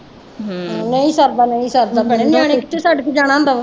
ਨਹੀਂ ਸਰਦਾ ਨਹੀਂ ਸਰਦਾ ਭੈਣੇ ਨਿਆਣੇ ਕਿੱਥੇ ਛੱਡ ਕੇ ਜਾਣਾ ਹੁੰਦਾ ਵਾ।